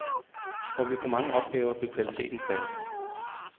Får vi for mange opgaver, vil kvaliteten falde.